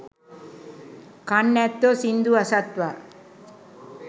කන් ඇත්තෝ සිංදු අසත්වා